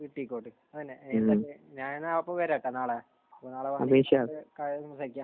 കിട്ടിക്കോട്ടെ. അതന്നെ. ഞാൻ അപ്പോൾ വരാട്ടോ നാളെ. നാളെ കടയിൽ ഇരുന്ന് കഴിക്കാം.